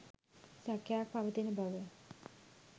සැකයක්‌ පවතින බව